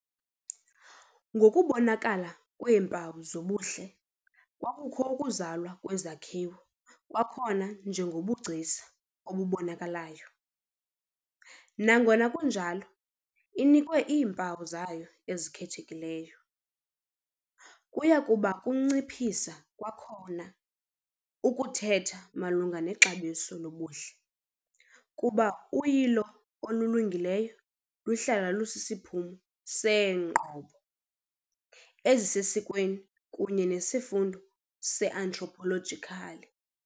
Ngokubonakala kweempawu zobuhle kwakukho ukuzalwa kwezakhiwo kwakhona njengobugcisa obubonakalayo, nangona kunjalo inikwe iimpawu zayo ezikhethekileyo. Kuya kuba kunciphisa kwakhona ukuthetha malunga nexabiso lobuhle kuba uyilo olulungileyo luhlala lusisiphumo seenqobo ezisesikweni kunye nesifundo se-anthropological.